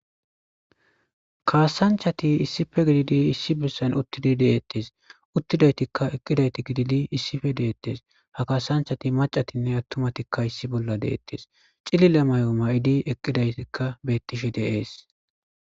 Kaasanchati issife gididi issi bissan uttidi deettes uttidaytikka eqqidayti gididi issife deeettes ha kaasanchati macatinne attumatikka issi bolla deettes cilila may7o ma7idi eqqidaytikka bettishe deees.